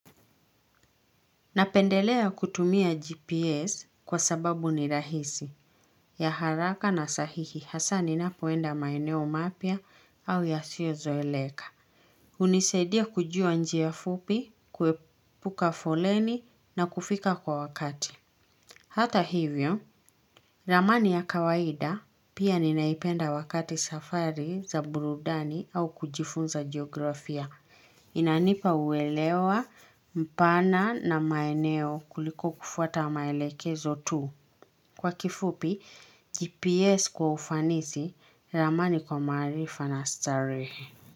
Napendelea kutumia GPS kwa sababu ni rahisi ya haraka na sahihi hasa ninapoenda maeneo mapya au yasiozoeleka. Hunisadia kujua njia fupi, kuepuka foleni na kufika kwa wakati. Hata hivyo, ramani ya kawaida pia ninaipenda wakati safari za burudani au kujifunza geografia. Inanipa uelewa mpana na maeneo kuliko kufuata maelekezo tu. Kwa kifupi, GPS kwa ufanisi ramani kwa maarifa na starehe.